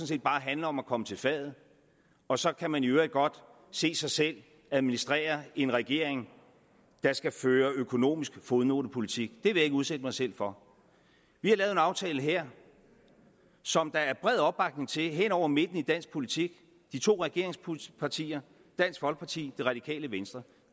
set bare handler om at komme til fadet og så kan man i øvrigt godt se sig selv administrere en regering der skal føre økonomisk fodnotepolitik det vil jeg ikke udsætte mig selv for vi har lavet en aftale her som der er bred opbakning til hen over midten i dansk politik de to regeringspartier dansk folkeparti det radikale venstre